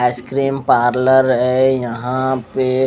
ice cream parlour है यहाँ पे--